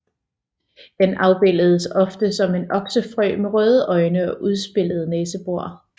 Den afbilledes ofte som en oksefrø med røde øjne og udspilede næsebor